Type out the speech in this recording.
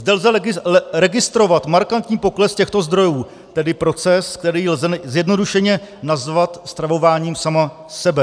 Zde lze registrovat markantní pokles těchto zdrojů, tedy proces, který lze zjednodušeně nazvat stravováním sama sebe.